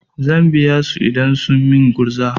Zan biya su idan sun min gurza.